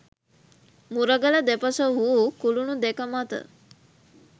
මුරගල දෙපස වූ කුලුණු දෙක මත